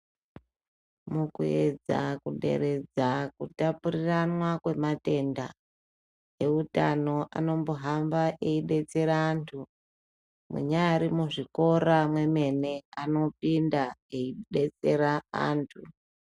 Mukuedza kuderedza kutapuriranwa kwematenda eutano anombohamba eidetsera antu, munyari mwuzvikora mwemene anopinda eibetsera antu.